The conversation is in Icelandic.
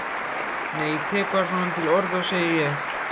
Nei ég tek bara svona til orða, segi ég.